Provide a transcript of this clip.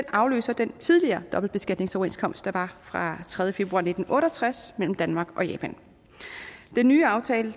afløser den tidligere dobbeltbeskatningsoverenskomst der var fra tredje februar nitten otte og tres mellem danmark og japan den nye aftale